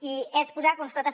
i és posar constatació